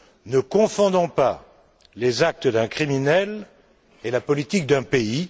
Ne confondons pas les actes d'un criminel et la politique d'un pays!